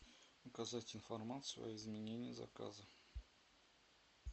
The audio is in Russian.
указать информацию об изменении заказа